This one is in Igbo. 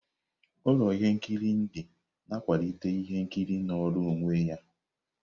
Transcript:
Ụlọ ihe nkiri Indi na-akwalite ihe nkiri nọọrọ onwe ya.